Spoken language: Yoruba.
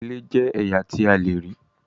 Ìlẹ̀ jẹ̀ ẹyà tí à lèrí.